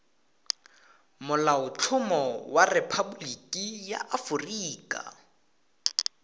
molaotlhomo wa rephaboliki ya aforika